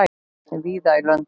víða í löndum